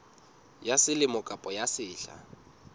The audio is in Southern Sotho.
ya selemo kapa ya sehla